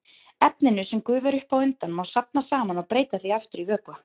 Efninu, sem gufar upp á undan, má safna saman og breyta því aftur í vökva.